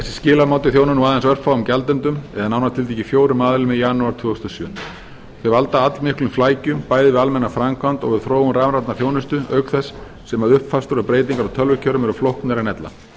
þessi skilamáti þjónar nú aðeins örfáum gjaldendum eða nánar tiltekið fjórum aðilum í janúar tvö þúsund og sjö þau valda allmiklum flækjum bæði við almenna framkvæmd og við þróun rafrænnar þjónustu auk þess sem uppfærslur og breytingar á tölvukerfum eru flóknari en ella